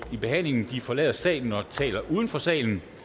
behandlingen forlader salen og taler uden for salen